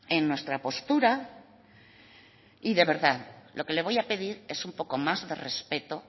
en nuestra postura y de verdad lo que le voy a pedir es un poco más de respeto